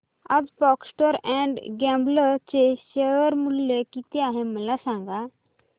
आज Procter and Gamble चे share मूल्य किती आहे मला सांगा